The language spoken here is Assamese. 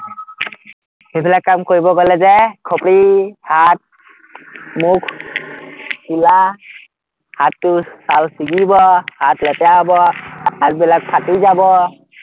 সেইবিলাক কাম কৰিব গলে যে খুপৰি, হাত, মুখ, চোলা, হাতটো ছাল ছিগিব, হাত লেতেৰা হব, হাতবিলাক ফাটি যাব